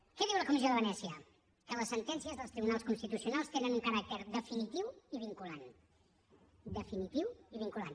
què diu la comissió de venècia que les sentències dels tribunals constitucionals tenen un caràcter definitiu i vinculant definitiu i vinculant